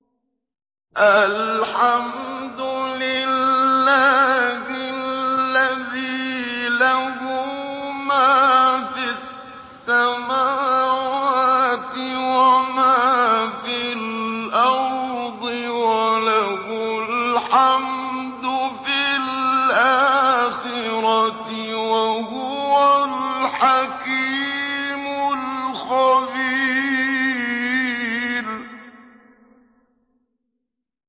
الْحَمْدُ لِلَّهِ الَّذِي لَهُ مَا فِي السَّمَاوَاتِ وَمَا فِي الْأَرْضِ وَلَهُ الْحَمْدُ فِي الْآخِرَةِ ۚ وَهُوَ الْحَكِيمُ الْخَبِيرُ